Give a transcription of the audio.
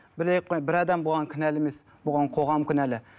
бір адам бұған кінәлі емес бұған қоғам кінәлі